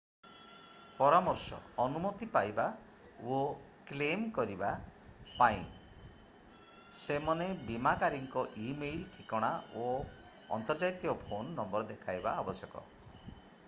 ପରାମର୍ଶ/ଅନୁମତି ପାଇବା ଓ କ୍ଲେମ୍‍ କରିବା ପାଇଁ ସେମନେ ବୀମାକାରୀଙ୍କ ଇ-ମେଲ୍‍ ଠିକଣା ଓ ଅନ୍ତର୍ଜାତୀୟ ଫୋନ୍‍ ନମ୍ବର ଦେଖାଇବା ଆବଶ୍ୟକ।